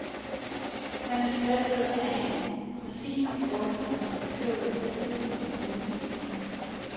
Manuskriptet en præcist ordnet beskrivelse af filmen scene for scene.